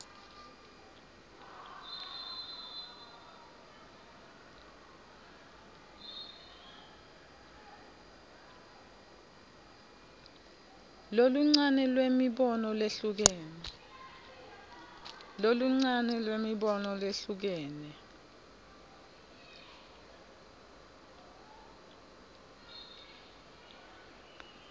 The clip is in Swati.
loluncane lwemibono lehlukene